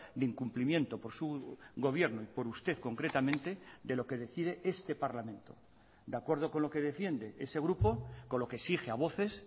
de incumplimiento por su gobierno y por usted concretamente de lo que decide este parlamento de acuerdo con lo que defiende ese grupo con lo que exige a voces